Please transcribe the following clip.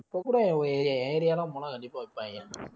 இப்போ கூட உன் area என் area லாம் போனா கண்டிப்பா விப்பாங்க